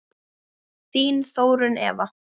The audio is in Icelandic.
Þín Þórunn Eva.